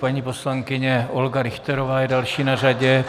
Paní poslankyně Olga Richterová je další na řadě.